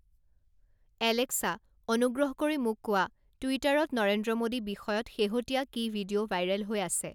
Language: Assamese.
এলেক্সা অনুগ্ৰহ কৰি মোক কোৱা টুইটাৰত নৰেন্দ্ৰ মোডী বিষয়ত শেহতীয়া কি ভিডিঅ' ভাইৰে'ল হৈ আছে